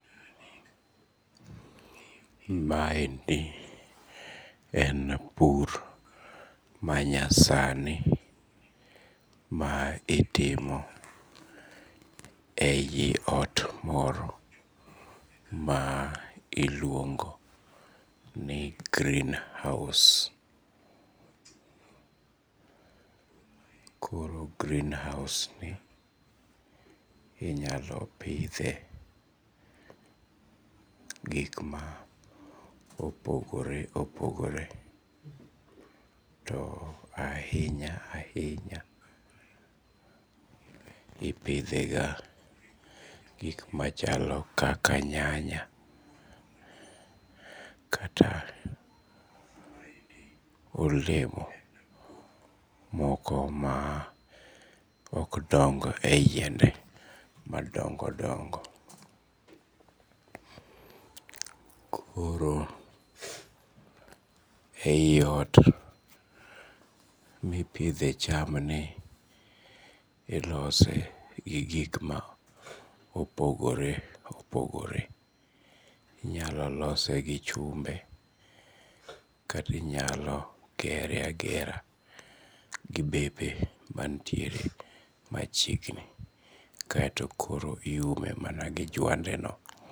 Maendi en pur manyasani ma itimo e yi ot moro ma iluongo ni greenhouse koro greenhouse inyalo pidhe gik ma opogore opogore to ahinya ahinya ipidhega gik machalo kaka nyanya kata olemo moko ma ok dong' e yende madongo dongo, koro e yi ot mipidhe cham ni ilose gi gik ma opogore opogore, inyalo lose gi chumbe kati inyalo gere agera gi bepe manitiere machiegni kaeto koro iume mana gi jwandeno